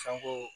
Fɛnko